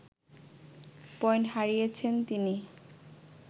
point হারিয়েছেন তিনি